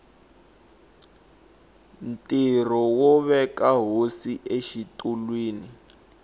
ntirho wo veka hosi exitulwini